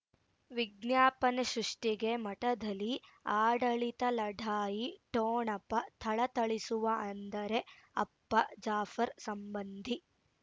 ವಿಜ್ಞಾಪನೆ ಸೃಷ್ಟಿಗೆ ಮಠದಲ್ಲಿ ಆಡಳಿತ ಲಢಾಯಿ ಠೋಣಪ ಥಳಥಳಿಸುವ ಅಂದರೆ ಅಪ್ಪ ಜಾಫರ್ ಸಂಬಂಧಿ